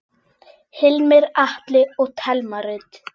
Hilmar Atli og Thelma Rut.